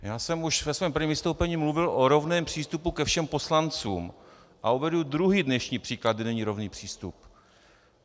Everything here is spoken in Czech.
Já jsem už ve svém prvním vystoupení mluvil o rovném přístupu ke všem poslancům a uvedu druhý dnešní příklad, kde není rovný přístup.